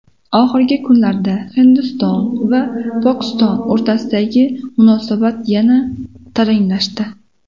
Oxirgi kunlarda Hindiston va Pokiston o‘rtasidagi munosabat yana taranglashdi.